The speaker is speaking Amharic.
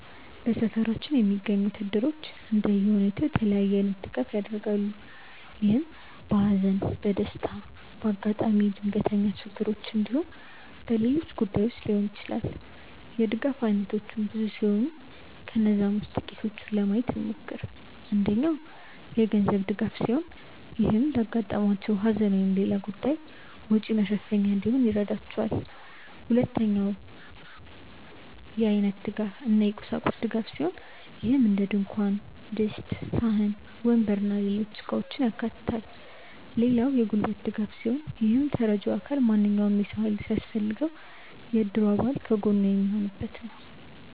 በሰፈራችን የሚገኙት እድሮች እንደየሁኔታው የተለያየ አይነት ድጋፍ ያደርጋሉ። ይህም በሃዘን፣ በደስታ፣ በአጋጣሚ ድንገተኛ ችግሮች እንዲሁም በሌሎች ጉዳዮች ሊሆን ይችላል። የድጋፍ አይነቶቹ ብዙ ሲሆኑ ከነዛም ውስጥ ጥቂቱን ለማየት እንሞክር። አንደኛው የገንዘብ ድጋፍ ሲሆን ይህም ለአጋጠማቸው ሃዘን ወይም ሌላ ጉዳይ ወጪ መሸፈኛ እንዲሆን ይረዳቸዋል። ሁለተኛው የአይነት እና የቁሳቁስ ድጋፍ ሲሆን ይህም እንደድንኳን ድስት፣ ሳህን፣ ወንበር እና ሌሎች እቃውችን ያካታል። ሌላው የጉልበት ድጋፍ ሲሆን ይህም ተረጂው አካል ማንኛውም የሰው ሃይል ሲያስፈልገው የእድሩ አባል ከጎኑ የሚሆኑበት ነው።